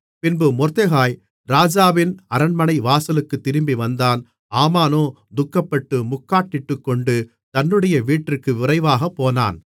பின்பு மொர்தெகாய் ராஜாவின் அரண்மனைவாசலுக்குத் திரும்பி வந்தான் ஆமானோ துக்கப்பட்டு முக்காடிட்டுக்கொண்டு தன்னுடைய வீட்டிற்கு விரைவாகப்போனான்